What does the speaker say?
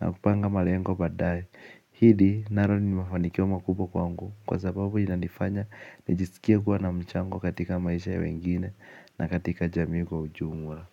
na kupanga malengo baadaye ni mafanikio makubwa kwangu kwa sababu inanifanya nijisikie kuwa na mchango katika maisha ya wengine na katika jamii kwa ujumla.